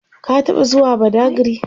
ka taɓa zuwa badagry?